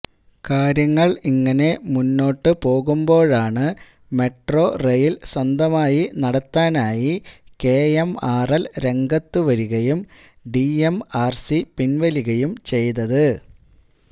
കാര്യങ്ങള് ഇങ്ങനെ മുന്നോട്ടുപോകുമ്പോഴാണ് മെട്രോ റെയില് സ്വന്തമായി നടത്താനായി കെഎംആര്എല് രംഗത്തുവരികയും ഡിഎംആര്സി പിന്വലിയുകയും ചെയ്തത്